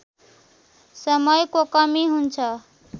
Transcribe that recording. समयको कमी हुन्छ